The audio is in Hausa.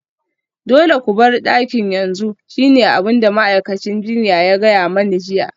Dole ku bar dakin yanzu shine abin da ma'aikacin jinya ta gaya mani jiya